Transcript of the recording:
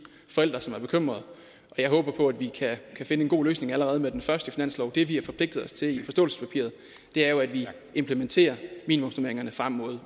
forældre som er bekymrede jeg håber på at vi kan finde en god løsning allerede med den første finanslov det vi har forpligtet os til i forståelsespapiret er jo at vi implementerer minimumsnormeringerne frem mod